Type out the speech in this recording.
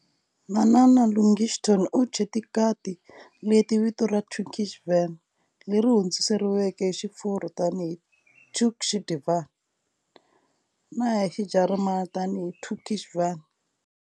Manana Lushington u thye tikati leti vito ra Turkish Van, leri hundzuluxeriweke hi Xifurwa tani hi Turc de Van na hi Xijarimani tani hi Türkisch Van.